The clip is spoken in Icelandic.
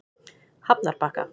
Hafnarbakka